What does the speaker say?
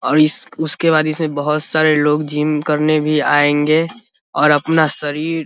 और इस उसके बाद इस में बहुत सारे लोग जिम करने भी आएंगे और अपना शरीर --